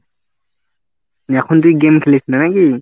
এখন তুই game খেলিস না নাকি?